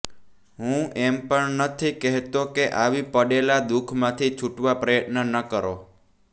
હું એમ પણ નથી કહેતો કે આવી પડેલા દુઃખમાંથી છૂટવા પ્રયત્ન ન કરો